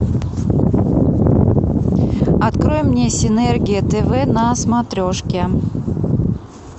открой мне синергия тв на смотрешке